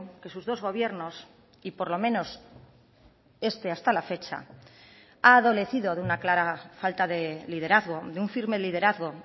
que sus dos gobiernos y por lo menos este hasta la fecha ha adolecido de una clara falta de liderazgo de un firme liderazgo